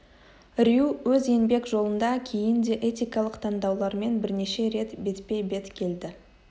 рью өз еңбек жолында кейін де этикалық таңдаулармен бірнеше рет бетпе-бет келді